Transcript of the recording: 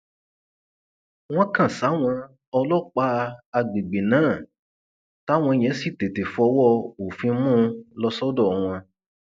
wọn kàn sáwọn ọlọpàá àgbègbè náà táwọn yẹn sì tètè fọwọ òfin mú un lọ sọdọ wọn